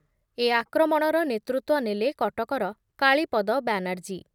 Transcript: ଏ ଆକ୍ରମଣର ନେତୃତ୍ଵ ନେଲେ କଟକର କାଳୀପଦ ବ୍ୟାନାର୍ଜୀ ।